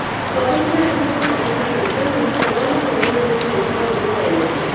स्वातंत्र्याआधी व स्वातंत्र्यानंतरही सर्वांना बरोबर घेऊन देशाला उभे करण्याचे